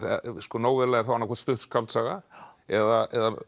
nóvella er annaðhvort stutt skáldsaga eða